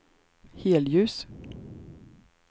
helljus